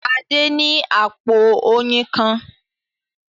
Adé ní àpò oyin kan.